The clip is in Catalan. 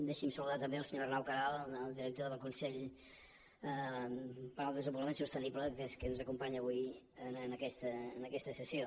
deixin me saludar també el senyor arnau queralt el director del consell per al desenvolupament sostenible que és qui ens acompanya avui en aquesta sessió